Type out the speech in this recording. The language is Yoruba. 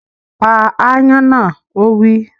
Pa ááyán náà! Ó wí